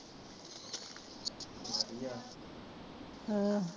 ਹੈ